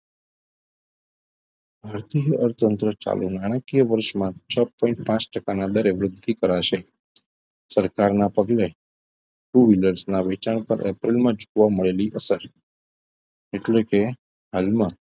આથી અર્થતંત્ર ચાલુક્ય નાણાકીય વર્ષમાં છ point પાંચ ટકા ના દરેક વૃદ્ધિ કરાશે સરકારના પગલે two wheeler ના વેચાણ પર એપ્રિલમાં જોવા મળેલી અસર એટલે કે હાલમાં